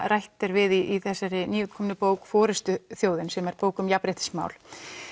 rætt er við í þessari nýútkomnu bók forystuþjóðin sem er bók um jafnréttismál